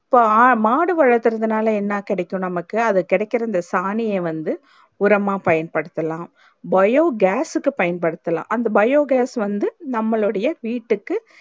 so மாடு வளக்குறதுனாலே என்ன கிடைக்கும் நமக்கு அத கிடைகிறந்த சாணியே வந்து உரம்மா பயன்படுத்தலாம் biogas க்கு பயன்படுத்தலாம் அந்த biogas வந்து நம்மளோடயே வீட்டுக்கு